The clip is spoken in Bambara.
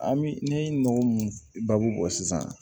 An bɛ ne ye nɔgɔ mun baabu bɔ sisan